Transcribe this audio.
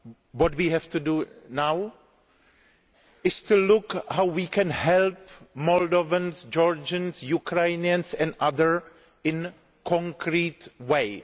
What we have to do now is to look at how we can help Moldovans, Georgians, Ukrainians and others in a concrete way.